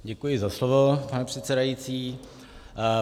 Děkuji za slovo, pane předsedající.